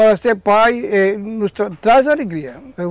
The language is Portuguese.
ser pai traz alegria,